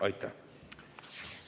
Aitäh!